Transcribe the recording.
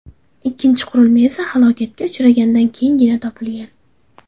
Ikkinchi qurilma esa halokatga uchraganidan keyingina topilgan.